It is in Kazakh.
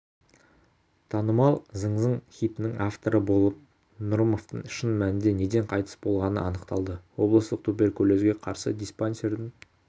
танымал зың-зың хитінің авторы болат нұрымовтың шын мәнінде неден қайтыс болғаны анықталды облыстық туберкулезге қарсы диспансердің